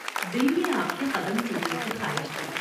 دل میں آپ کے قدم چومنے کی خواہش تھی ۔